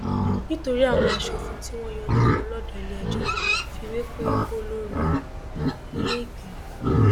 nítorí àwọn aṣòfin tí wọn yọ nípò lọdọ iléẹjọ fìwé pe olórí iléìgbìmọ